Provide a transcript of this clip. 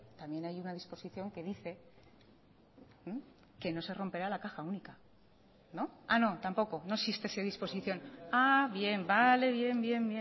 también hay una disposición que dice que no se romperá la caja única ah no tampoco no existe esa disposición ah bien vale bien bien